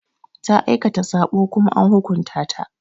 Ta aikata saɓo Kuma an hukunta ta.